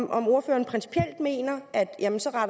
om ordføreren principielt mener